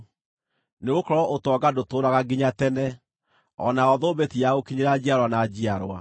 nĩgũkorwo ũtonga ndũtũũraga nginya tene, o nayo thũmbĩ ti ya gũkinyĩra njiarwa na njiarwa.